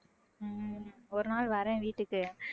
உம் ஒரு நாள் வரேன் வீட்டுக்கு